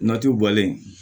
Natiw bɔlen